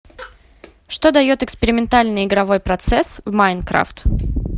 что дает экспериментальный игровой процесс в майнкрафт